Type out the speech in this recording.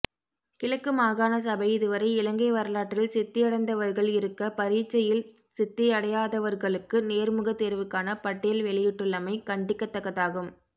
கிழக்கு மாகாண சபை இதுவரை இலங்கை வரலாற்றில் சித்தியடைந்தவர்கள் இருக்க பரீட்சையில் சித்தியடையாதவர்களுக்கு நேர்முக தேர்வுக்கான பட்டியல் வெளியிட்டுள்ளமை கண்டிக்கத்தக்கதாகும்